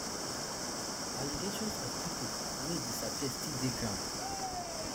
allegations of pipo wey disappear still dey ground